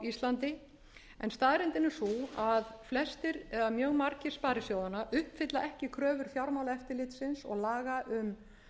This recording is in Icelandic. íslandi en staðreyndin er sú að flestir eða mjög margir sparisjóðanna uppfylla ekki kröfur fjármálaeftirlitsins og laga um